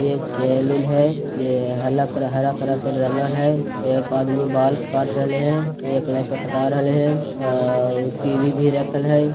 ये एक सैलून है ये हल्ला हरा कलर से रंगन है ये एक आदमी बाल काट रेले है एक लाइक अ कटारल है आह टी_वी भी रेकल है।